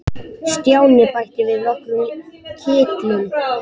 Stjáni bætti við nokkrum kitlum.